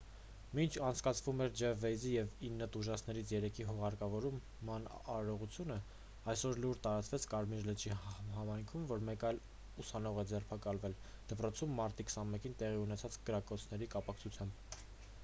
մինչ անցկացվում էր ջեֆ վեյզի և ինը տուժածներից երեքի հուղարկավորման արարողությունը այսօր լուր տարածվեց կարմիր լճի համայնքում որ մեկ այլ ուսանող է ձերբակալվել դպրոցում մարտի 21-ին տեղի ունեցած կրակոցների կապակցությամբ